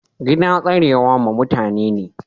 Gida tsarewa ma mutani ne.